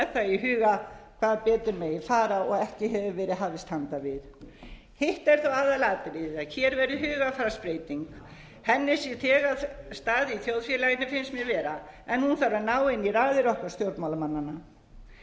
það í huga hvað betur megi fara og ekki hefur verið hafist handa við hitt er þó aðalatriðið að hér verði hugarfarsbreyting hennar sér þegar stað í þjóðfélaginu finnst mér vera en hún þarf að ná inn í raðir okkar stjórnmálamannanna við þurfum